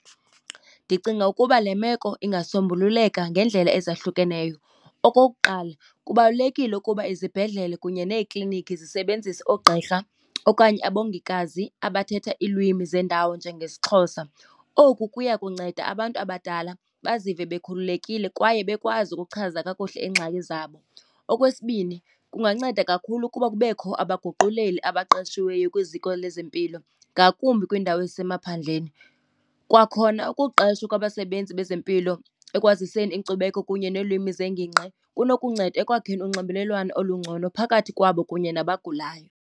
Ndicinga ukuba le meko ingasombululeka ngendlela ezahlukeneyo. Okokuqala, kubalulekile ukuba izibhedlele kunye neekliniki zisebenzise oogqirha okanye abongikazi abathetha iilwimi zendawo, njengesiXhosa. Oku kuya kunceda abantu abadala bazive bekhululekile, kwaye bekwazi ukuchaza kakuhle iingxaki zabo. Okwesibini, kunganceda kakhulu ukuba kubekho abaguquleli abaqeshiweyo kwiziko lezempilo, ngakumbi kwiindawo ezisemaphandleni. Kwakhona, ukuqeshwa kwabasebenzi bezempilo ekwaziseni inkcubeko kunye neelwimi zengingqi kunokunceda ekwakheni unxibelelwano olungcono phakathi kwabo kunye nabagulayo.